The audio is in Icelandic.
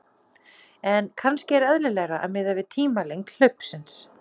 En kannski er eðlilegra að miða við tímalengd hlaupsins.